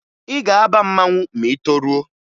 Ị ga-aba mmanwụ ma ị toruo!